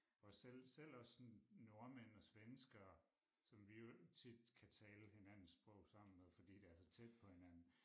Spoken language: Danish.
Og selv selv også sådan nordmænd og svenskere som vi jo tit kan tale hinandens sprog sammen med fordi det er så tæt på hinanden